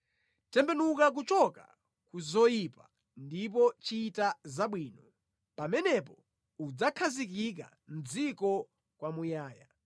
Tembenuka kuchoka ku zoyipa ndipo chita zabwino; pamenepo udzakhazikika mʼdziko kwamuyaya.